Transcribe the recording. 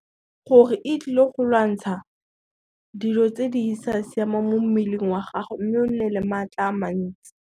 Gore e tlile go lwantsha, dilo tse di sa siamang mo mmeleng wa gago, mme o nne le matla a mantsi.